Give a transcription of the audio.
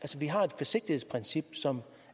vi har et forsigtighedsprincip som